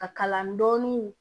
Ka kala dɔɔnin